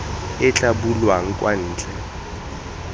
e tla bulwang kwa ntle